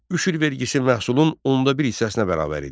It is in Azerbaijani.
Üşür vergisi məhsulun onda bir hissəsinə bərabər idi.